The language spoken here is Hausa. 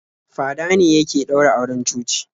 Fada ne yake ɗaura auren coci.